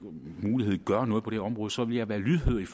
gøre noget på det her område så vil jeg være lydhør